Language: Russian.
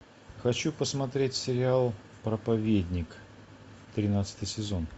хочу посмотреть сериал проповедник тринадцатый сезон